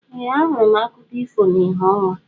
Ee ahụrụ m akụkọ ifo na ìhè ọnwa.